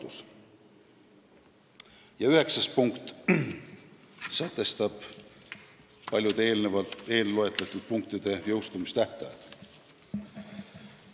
Eelnõu viimane muudatusettepanek sätestab paljude eelloetletud punktide jõustumistähtajad.